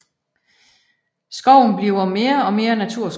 Skoven bliver mere og mere naturskov